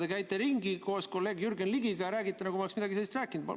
Te käite ringi koos kolleeg Jürgen Ligiga ja räägite, nagu ma oleksin midagi sellist rääkinud.